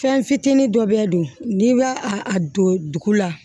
Fɛn fitinin dɔ bɛ don n'i bɛ a don dugu la